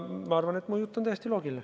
Ma arvan, et mu jutt on täiesti loogiline.